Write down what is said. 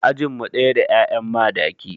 Ajin mu ɗaya da 'ya'yan Madaki.